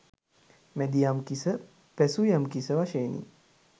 මැදියම්කිස, පැසුයම්කිස, වශයෙනි.